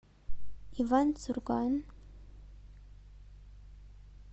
иван сурган